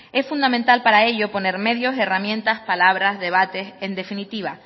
es fundamental para ello poner medios herramientas palabras debates en definitiva